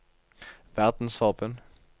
verdensforbund